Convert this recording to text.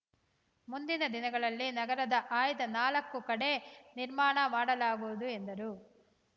ಮುಂದಿನ ದಿನಗಳಲ್ಲಿ ನಗರದ ಆಯ್ದ ನಾಲ್ಕು ಕಡೆ ನಿರ್ಮಾಣ ಮಾಡಲಾಗುವುದು ಎಂದರು